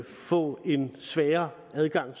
få en sværere adgang